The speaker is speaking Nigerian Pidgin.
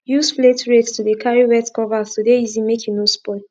use flate rakes to de carry wet cover to de easy make e no spoil